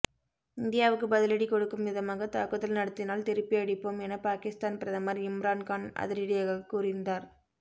இந்தியாவுக்கு பதிலடி கொடுக்கும் விதமாக தாக்குதல் நடத்தினால் திருப்பி அடிப்போம் என பாகிஸ்தான் பிரதமர் இம்ரான்கான் அதிரடியாக கூறியிருந்தார்